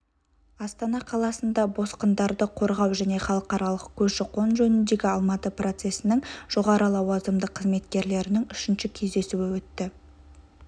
астана қаласында босқындарды қорғау және халықаралық көші-қон жөніндегі алматы процесінің жоғары лауазымды қызметкерлерінің үшінші кездесуі өтті